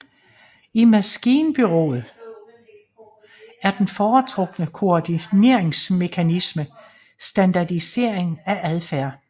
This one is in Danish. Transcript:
I maskinbureakratiet er den foretrukne koordineringsmekanisme standardisering af adfærd